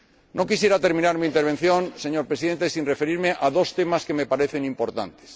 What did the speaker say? No quisiera terminar mi intervención, señor Presidente, sin referirme a dos temas que me parecen importantes.